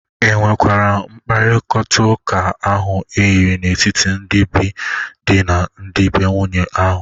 E nwekwara mkpakọritaụka ahụ eyiri n'etiti ndị be dị na ndị be nwunye ahụ?